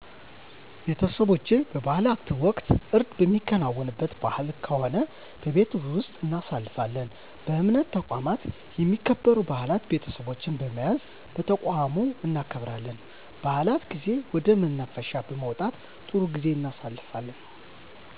ቤተሰቦቸ በበዓላት ወቅት እርድ የሚከናወንበት በዓል ከሆነ በቤት ወስጥ እናሳልፋለን በእምነት ተቋማት የሚከበሩ በዓላት ቤተሰቦቸን በመያዝ በተቋሙ እናከብራለን በዓላት ጊዜ ወደ መናፈሻ በመውጣት ጥሩ ጊዜ እናሣልፋለን